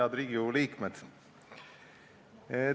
Head Riigikogu liikmed!